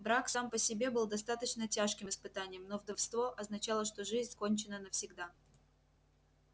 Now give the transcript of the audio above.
брак сам по себе был достаточно тяжким испытанием но вдовство означало что жизнь кончена навсегда